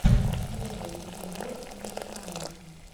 первый эпизод луцая